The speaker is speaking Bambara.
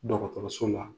Dɔgɔtɔrɔso la